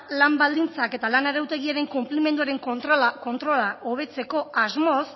lan baldintzak eta lan arautegiaren konplimenduaren kontrola hobetzeko asmoz